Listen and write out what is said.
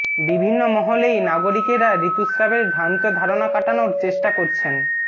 বিভিন্ন মহলেই নাগরিকেরা ঋতুস্রাবের ভ্রান্ত ধারণা কাটানোর চেষ্টা করছেন